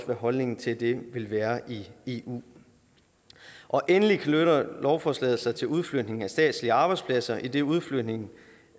hvad holdningen til det vil være i eu endelig knytter lovforslaget sig til udflytning af statslige arbejdspladser idet udflytningen